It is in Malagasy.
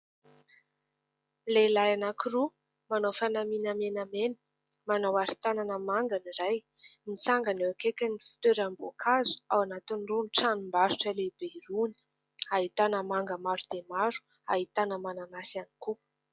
Lehilay anankiroa manao fanamina menamena manao aritanana manga ny iray mitsangana eo akaikin'ny fitoeram-boakazo ao anatin'irony ny tranom-barotra lehibe irony, hahitana manga maro dia maro, hahitana mananasy ihany koa.